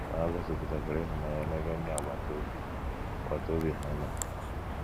Ma ha gosipụtakwara ịhụnanya n’ebe ndị agbata obi agbata obi ha nọ.